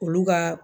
Olu ka